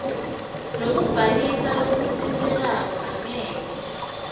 lokubhalisa lokutsintsekako angeke